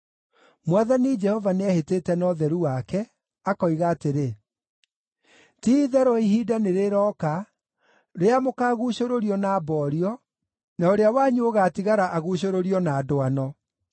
Mwathani Jehova nĩehĩtĩte na ũtheru wake, akoiga atĩrĩ, “Ti-itherũ ihinda nĩrĩroka rĩrĩa mũkaguucũrũrio na mboorio, na ũrĩa wanyu ũgaatigara aguucũrũrio na ndwano.